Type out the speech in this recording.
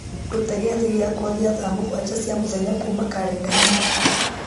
ruta gĩathĩ gĩakwa gĩa thaa mũgwanja cia mũthenya kuma karenda-inĩ